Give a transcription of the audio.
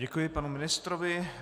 Děkuji panu ministrovi.